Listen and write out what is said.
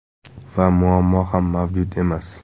Va muammo ham mavjud emas.